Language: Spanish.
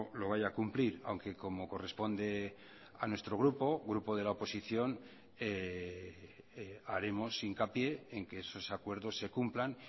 lo vaya a cumplir aunque como corresponde a nuestro grupo grupo de la oposición haremos hincapié en que esos acuerdos se cumplan